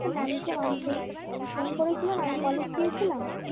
মানছে মানছেই ফোন করেছিল না আমি কলেজ গেছিলাম